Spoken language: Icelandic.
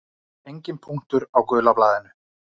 Enginn punktur á gula blaðinu.